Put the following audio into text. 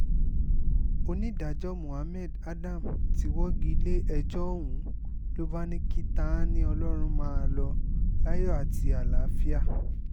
onídàájọ́ mohammed adam ti wọ́gi lé ẹjọ́ ọ̀hún ló bá ní kí ta-ni-ọlọ́run máa lọ láyọ̀ àti àlàáfíà